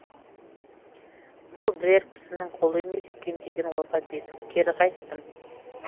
бұл бірер кісінің қолы емес екен деген ойға бекіп кері қайттым